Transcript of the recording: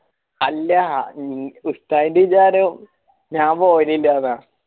ആല്ലാ ഉസ്സയിൻറെ വിചാരോ ഞാൻ പോരില്ലാന്ന